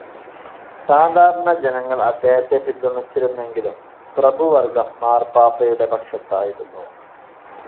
സാധാരണ ജനങ്ങൾ അദ്ദേഹത്തെ പിന്തുണച്ചിരുന്നെങ്കിലും പ്രഭുവർഗം മാർപ്പാപ്പായുടെ പക്ഷത്തായിരുന്നു.